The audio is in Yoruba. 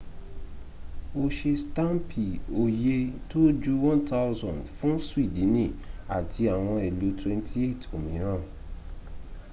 o se staampi oye to ju 1,000 fun swidini ati awon ilu 28 omiran